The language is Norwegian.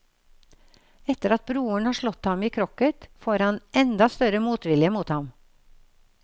Etter at broren har slått ham i krokket, får han enda større motvilje mot ham.